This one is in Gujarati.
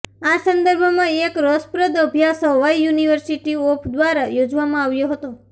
આ સંદર્ભમાં એક રસપ્રદ અભ્યાસ હવાઇ યુનિવર્સિટી ઓફ દ્વારા યોજવામાં આવ્યો હતો